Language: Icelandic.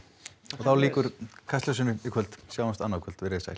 og þá lýkur Kastljósinu í kvöld sjáumst annað kvöld veriði sæl